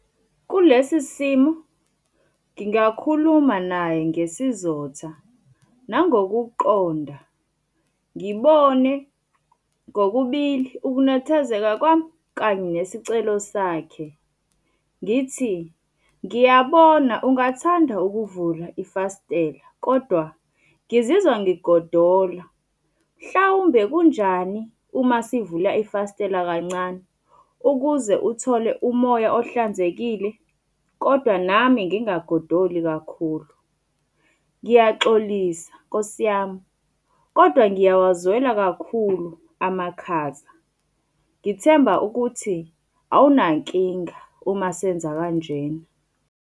Kulesi simo, ngingakhuluma naye ngesizotha, nangokuqonda, ngibone kokubili ukunethezeka kwami kanye nesicelo sakhe. Ngithi ngiyabona ungathanda ukuvula ifastela, kodwa ngizizwa ngigodola, mhlawumbe kunjani uma sivula ifastela kancane, ukuze uthole umoya ohlanzekile? Kodwa nami ngingagodoli kakhulu. Ngiyaxolisa Nkosi yami, kodwa ngiyawazwela kakhulu amakhaza. Ngithemba ukuthi awunankinga uma senza kanjena.